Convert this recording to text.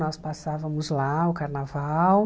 Nós passávamos lá o carnaval.